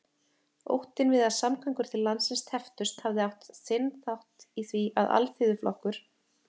Óttinn við að samgöngur til landsins tepptust hafði átt sinn þátt í því, að Alþýðuflokkur